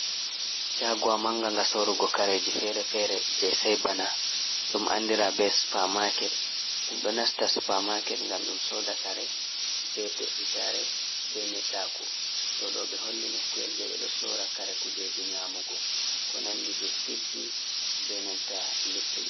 Shaguwa manga nga sorugo kareji fere-fere je sei bana ɗum andira be supa maaket ɗum do nasta supa maaket ngam ɗum soda kare be ɗe’itare be nedda ku ɗo do ɓe holli nokkuyel je be do soda kare kujeji nyamugo ko nandi biskitji be nanta luttudi.